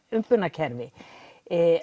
umbunarkerfi